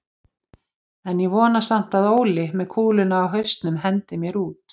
En ég vona samt að Óli með kúluna á hausnum hendi mér út.